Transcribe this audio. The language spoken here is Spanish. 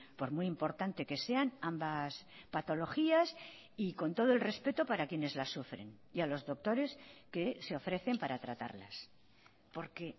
por muy importante que sean ambas patologías y con todo el respeto para quienes la sufren y a los doctores que se ofrecen para tratarlas porque